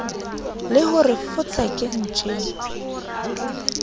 le ho re fotseke ntjeng